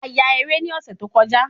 A ya eré ni ọ̀sẹ̀ tó kọjá